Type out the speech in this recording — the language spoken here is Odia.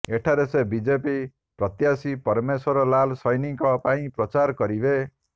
ଏଠାରେ ସେ ବିଜେପି ପ୍ରତ୍ୟାଶୀ ପରମେଶ୍ୱର ଲାଲ ସୈନୀଙ୍କ ପାଇଁ ପ୍ରଚାର କରିବେ